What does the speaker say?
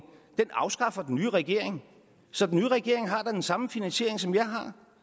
afskaffer den nye regering så den nye regering har da den samme finansiering som jeg har